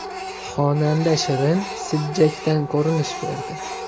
Xonanda Shirin Sijjakdan ko‘rinish berdi.